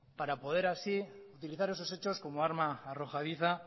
para poder así utilizar esos hechos como arma arrojadiza